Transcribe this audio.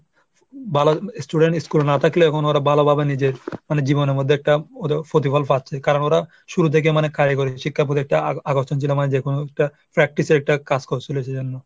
ভালো student school এ না থাকলে এখন ওরা ভালোভাবে নিজের মানে জীবনের মধ্যে একটা প্রতিফল পাচ্ছে, কারণ ওরা শুরু থেকে মানে কারিগরি শিক্ষার প্রতি একটা আকর্ষণ ছিল মানে যে কোনো একটা practice এর একটা কাজ করছিল সেই জন্য।